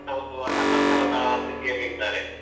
ಅಂತ ಒಂದು ಅತಂತ್ರದ ಸ್ಥಿತಿಯಲ್ಲಿದ್ದಾರೆ.